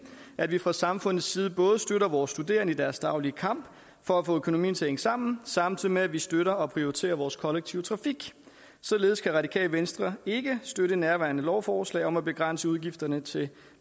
at vi fra samfundets side både støtter vores studerende i deres daglige kamp for at få økonomien til at hænge sammen samtidig med at vi støtter og prioriterer vores kollektive trafik således kan radikale venstre ikke støtte nærværende lovforslag om at begrænse udgifterne til